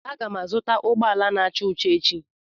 Aga m azụta ụgbọala n'acha ọcha echi